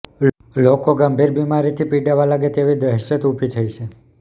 લોકો ગંભીર બિમારીથી પીડાવા લાગે તેવી દહેશત ઉભી થઇ છે